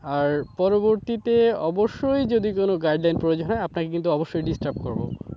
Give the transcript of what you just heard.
আর পরবর্তীতে অবশ্যই যদি কোন guideline প্রয়োজন হয় আপনাকে কিন্তু অবশ্যই disturb করবো।